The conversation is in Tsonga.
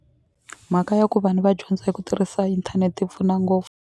Mhaka ya ku vanhu va dyondza hi ku tirhisa internet yi pfuna ngopfu.